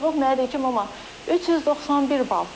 İndi yığıb mənə deyir ki, mama, 391 bal.